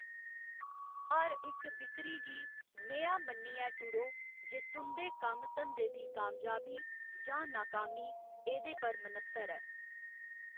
हर इक बिक्करी गी नेहा मन्नियै टुरो जे तुं'दे कम्म धंदे दी कामयाबी जां नाकामी एह्‌दे पर मन्हसर ऐ।